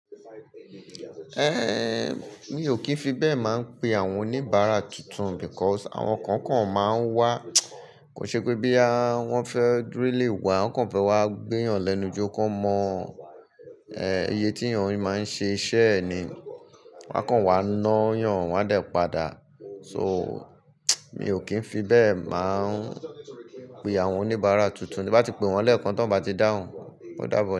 Eh mi ò kín fi bẹ́ẹ̀ máa ń pe àwọn oníbàárà tuntun because àwọn kan kan máa ń wá kò ṣe pé bí àwọn fẹ́ dúró lé wa, wọ́n kàn fẹ́ wá gbẹ́yàn lẹ́nu jọ, kó mọ eh iye tí èèyàn máa ń ṣe iṣẹ́ ni. Wọ́n kàn wá ná yàn, wọ́n a dà padà. So mi ò kín fi bẹ́ẹ̀ máa ń pe àwọn oníbàárà tuntun, bí bá ti pe wọ́n lẹ́ẹ̀kan, tó bá ti dáhùn, ó dáàbọ̀